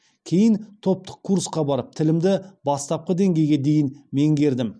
кейін топтық курсқа барып тілімді бастапқы деңгейге дейін меңгердім